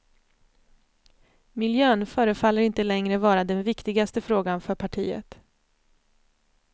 Miljön förefaller inte längre vara den viktigaste frågan för partiet.